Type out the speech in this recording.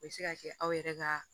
O bɛ se ka kɛ aw yɛrɛ ka